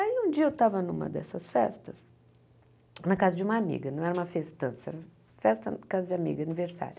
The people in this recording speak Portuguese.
Aí um dia eu estava numa dessas festas, na casa de uma amiga, não era uma festança, era festa na casa de amiga, aniversário.